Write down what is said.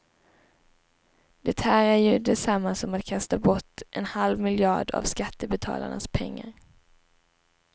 Det här är ju detsamma som att kasta bort en halv miljard av skattebetalarnas pengar.